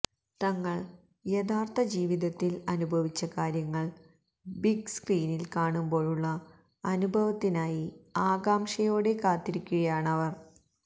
തങ്ങള് യഥാര്ത്ഥ ജീവിതത്തില് അനുഭവിച്ച കാര്യങ്ങള് ബിഗ്സ്ക്രീനില് കാണുമ്പോഴുള്ള അനുഭവത്തിനായി ആകാംക്ഷയോടെ കാത്തിരിക്കുകയാണവര്